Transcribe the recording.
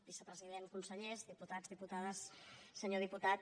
vicepresident consellers diputats diputades senyor diputat